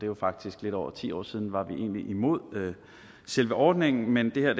jo faktisk lidt over ti år siden var vi egentlig imod selve ordningen men det her